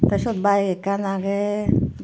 tey seyot bike ekkan agey.